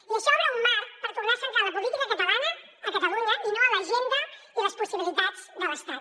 i això obre un marc per tornar a centrar la política catalana a catalunya i no a l’agenda i les possibilitats de l’estat